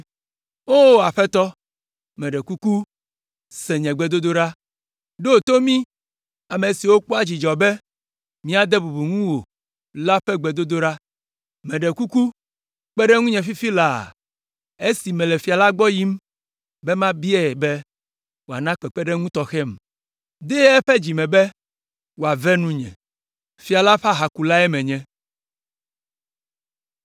O! Aƒetɔ, meɖe kuku, se nye gbedodoɖa! Ɖo to mí, ame siwo kpɔa dzidzɔ be míade bubu ŋuwò la ƒe gbedodoɖa. Meɖe kuku, kpe ɖe ŋunye fifi laa esi mele fia la gbɔ yim be mabiae be wòana kpekpeɖeŋu tɔxɛm. Dee eƒe dzi me be wòave nunye.” Fia la ƒe ahakulae menye.